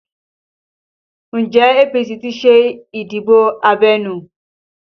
Njẹ́ APC ti ṣe ìdìbò abẹ́nú?